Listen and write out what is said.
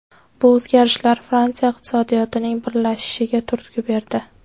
Bu o‘zgarishlar Fransiya iqtisodiyotining birlashishiga turtki berdi.